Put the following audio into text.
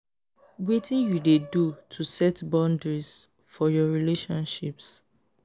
wetin you dey do to set boundaries for your relationship?